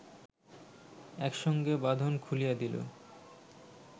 একসঙ্গে বাঁধন খুলিয়া দিল